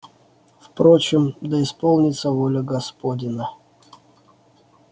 впрочем да исполнится воля господина